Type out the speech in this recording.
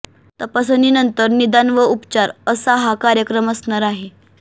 तपासणी नंतर निदान व उपचार असा हा कार्यक्रम असणार आहे